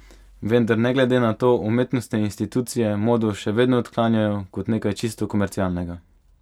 Vendar ne glede na to umetnostne institucije modo še vedno odklanjajo kot nekaj čisto komercialnega.